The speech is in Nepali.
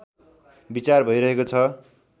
विचार भइरहेको छ